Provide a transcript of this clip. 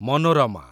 ମନୋରମା